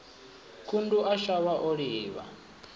khundu a shavha o livha